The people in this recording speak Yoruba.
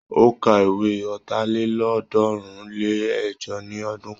Ó ka ìwé ọ̀tàlélọ́ọ̀ọ́dúnrún-lé-ẹ̀jọ ní ọdún kan.